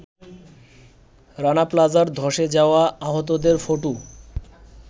রানা প্লাজার ধসে যাওয়া আহতদের ফটো